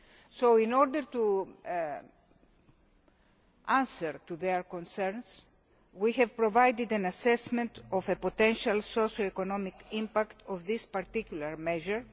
So in order to answer their concerns, we provided an assessment of the potential socio economic impact of this particular measure.